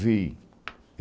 Vi.